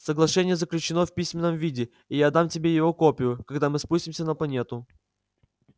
соглашение заключено в письменном виде и я отдам тебе его копию когда мы спустимся на планету